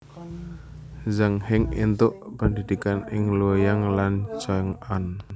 Zhang Heng éntuk pendhidhikan ing Luoyang lan Chang an